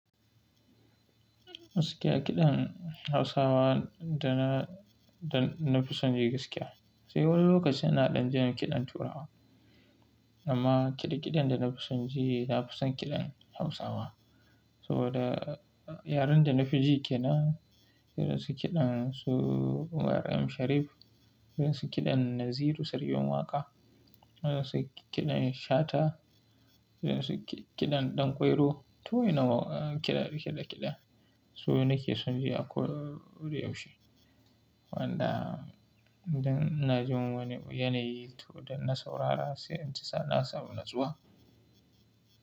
Gaskiya kiɗan Hausawa da na, da na fisan ji gaskiya. Sai wani lokacin ina ɗan jin kiɗan Turawa. Amma kiɗe kiɗan da na fi son ji, na fi son kiɗan Hausawa. Saboda yaren da na fi ji ke nan. Ina son kiɗan su RM Sharif, ina son kiɗan Naziru Sarkin Waka, ina son kiɗan Shata, ina son su kiɗan Ɗanƙwairo. Ta wa inna ma kiɗe kiɗe kiɗe. Su nake son ji a koyaushe. Wanda idan ina jin wani yanayi to da na saurara sai in ji na samu natsuwa.